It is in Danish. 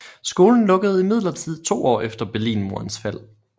Skolen lukkede imidlertid to år efter Berlinmurens fald